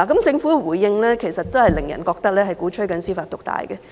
政府的回應其實令人覺得它鼓吹司法獨大。